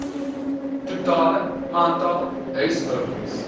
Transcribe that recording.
totale aantal huishoudings